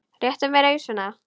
Réttu mér ausuna!